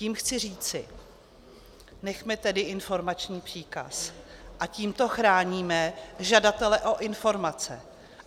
Tím chci říci, nechme tedy informační příkaz a tímto chráníme žadatele o informace.